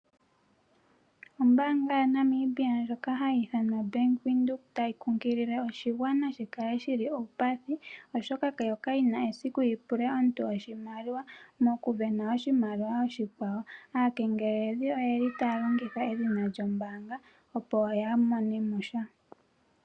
Ombaanga yaNamibia ndyoka ha yi ithanwa bank widhoek ta yi kunkilile oshigwana shikale shili uupathi oshoka yo ka yi na esiku yipule omuntu oshimaliwa moku sindana oshimaliwa .Aakengeleledhi oyeli ta ya longitha edhina lyombaanga opo ya mone mo sha.